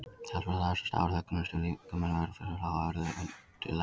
Talsvert af þessu stafar af höggunum sem líkaminn verður fyrir frá hörðu undirlagi.